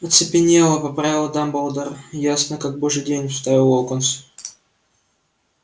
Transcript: оцепенела поправил дамблдор ясно как божий день вставил локонс